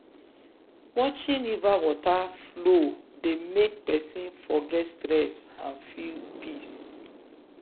watching river water flow dey make person forget stress and feel peace.